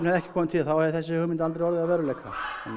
ekki komið til þá hefði þessi hugmynd aldrei orðið að veruleika þannig